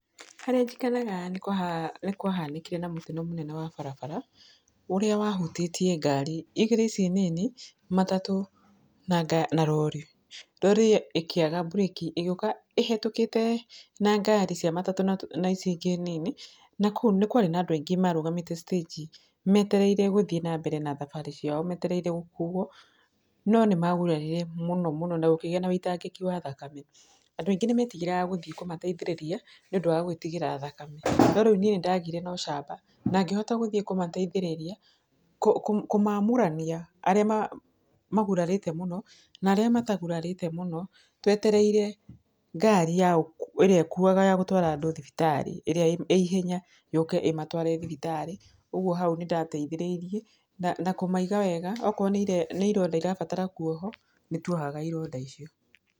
Harĩa njikaraga nĩ kwahanĩkire na mũtino wa barabara ũrĩa wa hutĩtie ngari igĩrĩ ici nini matatũ na anga na rori. Rori ĩkĩaga mburĩki ĩgĩuka ĩhĩtũkĩte na ngari cia matatũ na ngari ici ingĩ nini nĩkwarĩ na andũ aingĩ marũgamĩte citĩnji metereire gũthiĩ na mbere na thabarĩ ciao metereire gũkuo no nĩmagũrarire mũno mũno na gũkĩgĩa na ũitangĩki wa thakame, andũ aingĩ nĩmetigagĩra gũthiĩ kũmateithĩrĩria nĩũndũ wa gwĩtigĩra thakame no rĩu niĩ nĩndagĩire na ũcamba na ngĩhota gũthiĩ kũmateithĩrĩria kũmamũrania arĩa magurarĩte mũno na arĩa matagurarĩte mũno twetereire ngari ya irĩa ĩkũaga ya gũtwara andũ thibitarĩ ĩrĩa ĩihenya yũke ĩmatware thibitarĩ ogũo hau nĩ ndateithĩrĩirie na kũmaiga wega okorwo ni ironda irabatara kũohwo nĩtwohaga ironda icio.